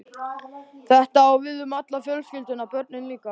Þetta á við um alla fjölskylduna- börnin líka.